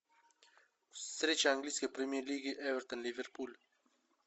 встреча английской премьер лиги эвертон ливерпуль